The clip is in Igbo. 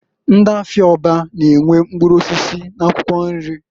Ndị afịa Orba na -enwe mkpụrụ osisi n'akwụkwọ nri.